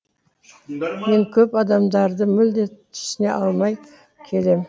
мен көп адамдарды мүлде түсіне алмай келем